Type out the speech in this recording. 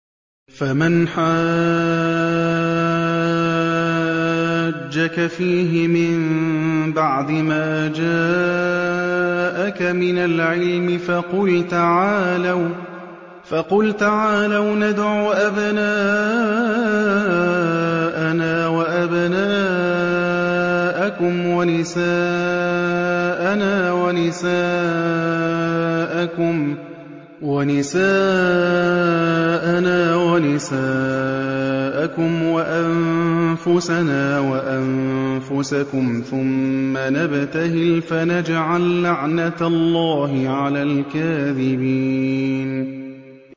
فَمَنْ حَاجَّكَ فِيهِ مِن بَعْدِ مَا جَاءَكَ مِنَ الْعِلْمِ فَقُلْ تَعَالَوْا نَدْعُ أَبْنَاءَنَا وَأَبْنَاءَكُمْ وَنِسَاءَنَا وَنِسَاءَكُمْ وَأَنفُسَنَا وَأَنفُسَكُمْ ثُمَّ نَبْتَهِلْ فَنَجْعَل لَّعْنَتَ اللَّهِ عَلَى الْكَاذِبِينَ